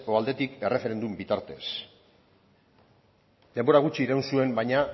aldetik erreferendum bitartez denbora gutxi iraun zuen baina